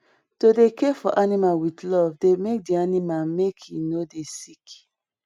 to dey care for animal with love dey make di animal make e no dey sick